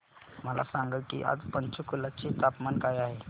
मला सांगा की आज पंचकुला चे तापमान काय आहे